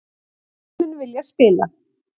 Leikmenn vilja spila